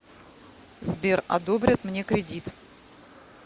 сбер одобрят мне кридит